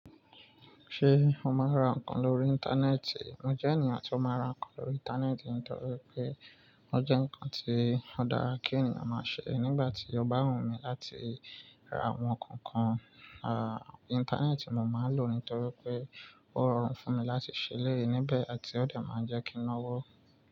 Ṣé o máa ń ra nǹkan lórí Íńtánẹ́ẹ̀tì? Mo jẹ́ ènìyàn tí ó máa ń ra nǹkan lórí Íńtánẹ́ẹ̀tì nítorí pé ó jẹ́ nǹkan tí ó dára kí ènìyàn máa ṣe. Nígbà tí ọba hun mi láti ra àwọn nǹkan kan, à, Íńtánẹ́ẹ̀tì mo máa ń lò nítorí pé ó rọrùn fún mi láti ṣẹlẹ níbẹ̀ àti ó dà máa ń jẹ́ kí n náwó.